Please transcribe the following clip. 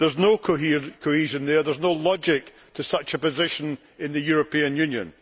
There is no cohesion there, there is no logic to such a position in the European Union.